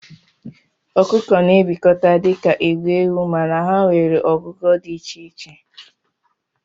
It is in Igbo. Okụkọ na ebikọta dika igwe ewu mana ha nwere ogugo di icheiche.